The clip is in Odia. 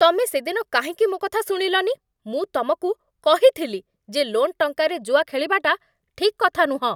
ତମେ ସେଦିନ କାହିଁକି ମୋ କଥା ଶୁଣିଲନି? ମୁଁ ତମକୁ କହିଥିଲି ଯେ ଲୋନ୍ ଟଙ୍କାରେ ଜୁଆ ଖେଳିବାଟା ଠିକ୍ କଥା ନୁହଁ ।